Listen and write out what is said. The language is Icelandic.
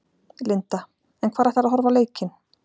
Linda: En hvar ætlarðu að horfa á leikinn?